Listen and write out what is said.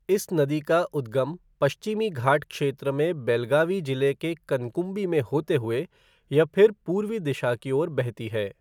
इस नदी का उद्गम पश्चिमी घाट क्षेत्र में बेलगावी जिले के कनकुंबी में होते हुए यह फिर पूर्वी दिशा की ओर बहती है।